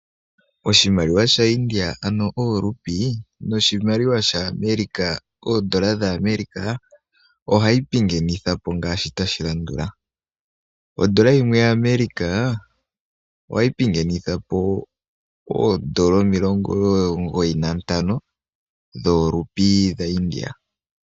Oshimaliwa sha India ano ooRupee noshimaliwa sha America oondola dha America, ohayi pingenithwapo ngaashi tashi landula: ondola yimwe ya America ohayi pingenithapo oondola 95 dhooRupee dha India.